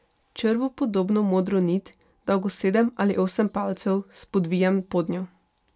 Črvu podobno modro nit, dolgo sedem ali osem palcev, spodvijem podnjo.